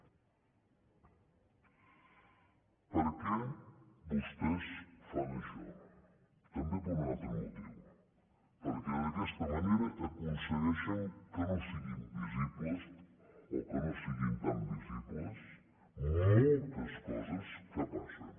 per què vostès fan això també per un altre motiu perquè d’aquesta manera aconsegueixen que no siguin visibles o que no siguin tan visibles moltes coses que passen